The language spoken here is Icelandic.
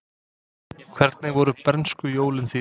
Hvernig voru bernskujólin þín?